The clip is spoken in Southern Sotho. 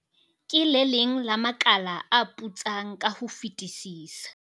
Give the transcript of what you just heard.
"Ke le leng la makala a putsang ka ho fetisisa."